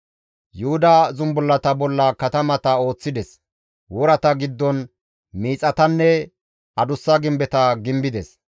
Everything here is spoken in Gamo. Yuhuda zumbullata bolla katamata ooththides; worata giddon miixatanne adussa gimbeta gimbides.